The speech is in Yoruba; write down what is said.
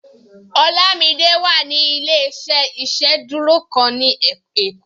Olamide wà ní ilé-iṣẹ́ ìsedúró kan ni ekó